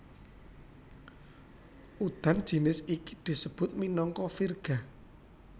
Udan jinis iki disebut minangka virga